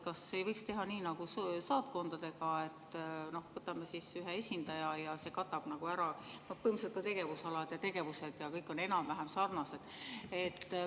Kas ei võiks teha nii nagu saatkondadega, et ühe esindaja, tema katab ära põhilised tegevusalad ja tegevused, mis kõik on enam-vähem sarnased?